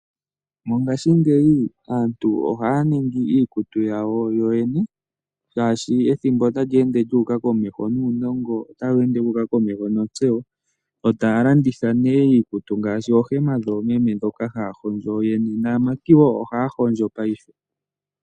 Mongashingeyi aantu ohaya ningi iikutu yawo yoyene shaashi ethimbo otali ende lyuuka komeho nuunongo otawu ende wuuka komeho nontseyo. Ohaya landitha iikutu ngaashi oohema dhoomeme mboka haya hondjo yoyeyene, naamati woo ohaya hondjo paife.